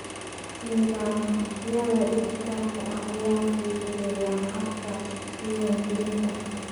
Nidaamyada dhijitaalka ah ayaa fududeeya habka diiwaangelinta.